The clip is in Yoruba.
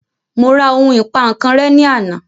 Mo ra ohun ìpankan rẹ́ ní àná